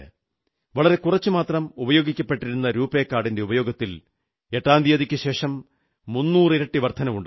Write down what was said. വളരെ കുറച്ചുമാത്രം ഉപയോഗിക്കപ്പെട്ടിരുന്ന രുപേ കാർഡിന്റെ ഉപയോഗത്തിൽ എട്ടാം തീയതിക്കുശേഷം 300 ഇരട്ടി വർധനവുണ്ടായി